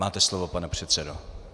Máte slovo, pane předsedo.